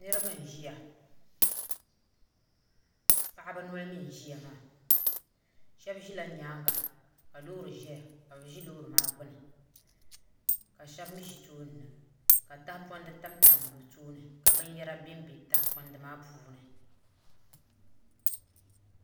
Niraba n ʒiya paɣaba noli mii n ʒiya maa shab ʒila nyaanga ka loori ʒɛya ka bi ʒi loori maa gbuni ka shab mii ʒi tooni na ka tahapona tamtam bi tooni ka binyɛra bɛ di puuni